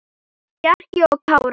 Bjarki og Kári.